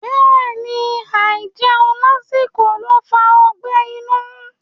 Bẹ́ẹ̀ni, àìjẹun lásìkò ló ń fa ọgbẹ́ inú.